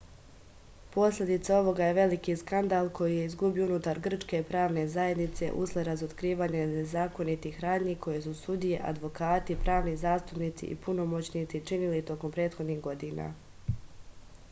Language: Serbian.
posledica ovoga je veliki skandal koji je izbio unutar grčke pravne zajednice usled razotkrivanja nezakonitih radnji koje su sudije advokati pravni zastupnici i punomoćnici činili tokom prethodnih godina